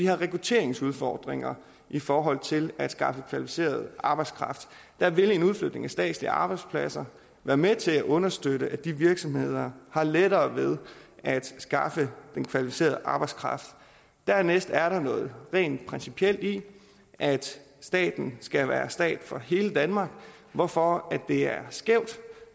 har rekrutteringsudfordringer i forhold til at skaffe kvalificeret arbejdskraft der vil en udflytning af statslige arbejdspladser være med til at understøtte at de virksomheder har lettere ved at skaffe kvalificeret arbejdskraft dernæst er der noget rent principielt i at staten skal være stat for hele danmark hvorfor det er skævt